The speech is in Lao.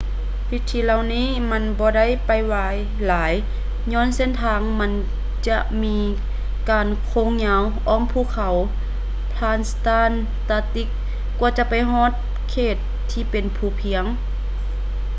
ວິທີເຫຼົ່ານີ້ມັນບໍ່ໄດ້ໄວຫຼາຍຍ້ອນເສັ້ນທາງມັນຈະມີການໂຄ້ງຍາວອ້ອມພູເຂົາ transantarctic ກວ່າຈະໄປຮອດເຂດທີ່ເປັນພູພຽງ